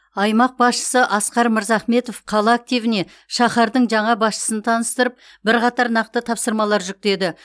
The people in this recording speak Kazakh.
аймақ басшысы асқар мырзахметов қала активіне шаһардың жаңа басшысын таныстырып бірқатар нақты тапсырмалар жүктеді